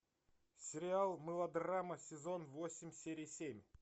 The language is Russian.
сериал мылодрама сезон восемь серия семь